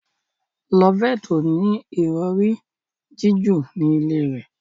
Loveth o ní Ìrọ̀rí jiju ní ilè rẹ.